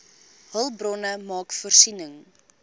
hulpbronne maak voorsiening